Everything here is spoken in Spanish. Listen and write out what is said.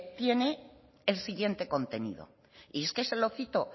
tiene el siguiente contenido y es que se lo cito